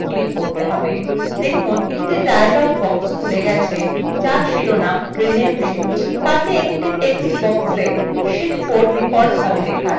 দেখুন একটি dialog box খুলে গেছে there শিরোনাম rename sheet